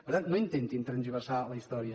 per tant no intentin tergiversar la història